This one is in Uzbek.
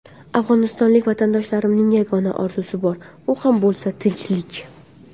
Afg‘onistonlik vatandoshlarimning yagona orzusi bor, u ham bo‘lsa tinchlik.